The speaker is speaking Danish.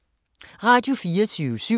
Radio24syv